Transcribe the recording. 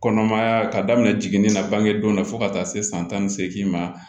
Kɔnɔmaya ka daminɛ na bangedenw na fo ka taa se san tan ni seegin ma